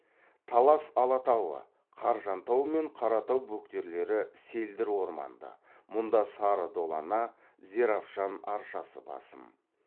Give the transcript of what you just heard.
талас алатауы қаржантау мен қаратау бөктерлері селдір орманды мұнда сары долана зеравшан аршасы басым